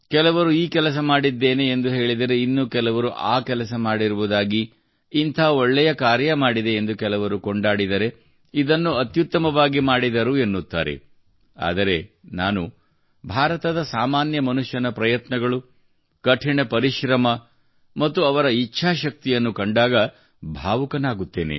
ಕೆಲವರು ಈ ಕೆಲಸ ಮಾಡಿದ್ದೇನೆ ಎಂದು ಹೇಳಿದರೆ ಇನ್ನು ಕೆಲವರು ಆ ಕೆಲಸ ಮಾಡಿರುವುದಾಗಿ ಇಂಥ ಒಳ್ಳೆಯ ಕಾರ್ಯ ಮಾಡಿದೆ ಎಂದು ಕೆಲವರು ಕೊಂಡಾಡಿದರೆ ಇದನ್ನು ಅತ್ಯುತ್ತಮವಾಗಿ ಮಾಡಿದರು ಎನ್ನುತ್ತಾರೆ ಆದರೆ ನಾನು ಭಾರತದ ಸಾಮಾನ್ಯ ಮನುಷ್ಯನ ಪ್ರಯತ್ನಗಳು ಕಠಿಣ ಪರಿಶ್ರಮ ಮತ್ತು ಅವರ ಇಚ್ಛಾಶಕ್ತಿಯನ್ನು ಕಂಡಾಗ ಭಾವುಕನಾಗುತ್ತೇನೆ